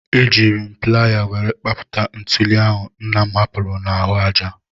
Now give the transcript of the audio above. Ejiiri m playa were kpapụta ntuli ahụ nna m hapụrụ n'ahụ aja.